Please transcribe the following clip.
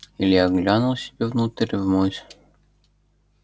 илья глянул себе внутрь в муть